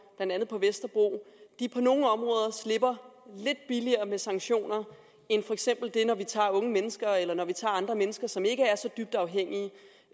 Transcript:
blandt andet på vesterbro på nogle områder slipper lidt billigere med sanktioner end når unge mennesker eller andre mennesker som ikke er så dybt afhængige